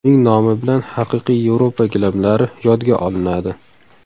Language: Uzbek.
Uning nomi bilan haqiqiy Yevropa gilamlari yodga olinadi.